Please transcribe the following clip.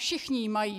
Všichni ji mají.